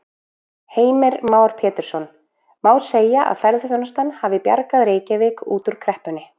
Heimir Már Pétursson: Má segja að ferðaþjónustan hafi bjargað Reykjavík út úr kreppunni?